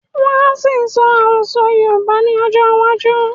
Wọ́n á ṣì sọ Àròsọ́ Yorùbá ni ọjọ́ iwájú